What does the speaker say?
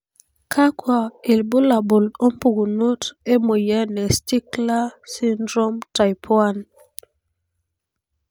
kakwa ilbulabul opukunoto emoyian e stickler syndrome type 1?